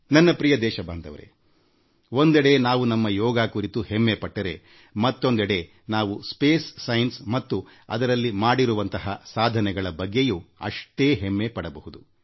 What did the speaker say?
ನನ್ನ ಪ್ರಿಯ ದೇಶ ವಾಸಿಗಳೇ ಒಂದೆಡೆ ನಾವು ನಮ್ಮ ಯೋಗ ಕುರಿತು ಹೆಮ್ಮೆ ಪಟ್ಟರೆಮತ್ತೊಂದೆಡೆ ನಾವು ಬಾಹ್ಯಾಕಾಶ ವಿಜ್ಞಾನದಲ್ಲಿನ ನಮ್ಮ ಸಾಧನೆಗೆ ಅಭಿಮಾನ ಪಡೆಬೇಕು